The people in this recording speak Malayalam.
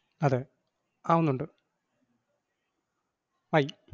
അതെ ആവുന്നുണ്ട് ആയി.